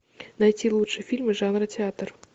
найти лучшие фильмы жанра театр